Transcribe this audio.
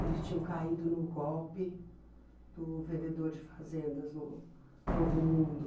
Eles tinham caído no golpe do vendedor de fazendas no Novo Mundo.